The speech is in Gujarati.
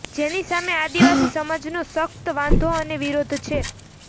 જેની સામે આદિવાસી સમાજનો સખ્ત વાંધો અને વિરોધ છે